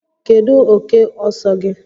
Kedu oke ọsọ gị?